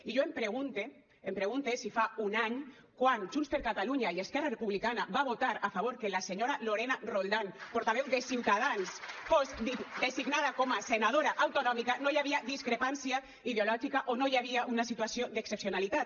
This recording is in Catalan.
i jo em pregunte em pregunte si fa un any quan junts per catalunya i esquerra republicana va votar a favor que la senyora lorena roldán portaveu de ciutadans fos designada com a senadora autonòmica no hi havia discrepància ideològica o no hi havia una situació d’excepcionalitat